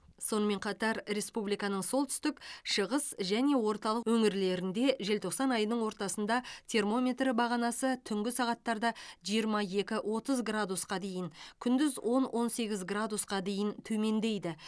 сонымен қатар республиканың солтүстік шығыс және орталық өңірлерінде желтоқсан айының ортасында термометр бағанасы түнгі сағаттарда жиырма екі отыз градусқа дейін күндіз он он сегіз градусқа дейін төмендейді